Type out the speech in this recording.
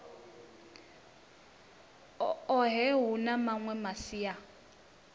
ohe hu na mawe masia